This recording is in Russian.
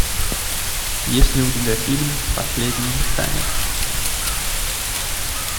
есть ли у тебя фильм последний танец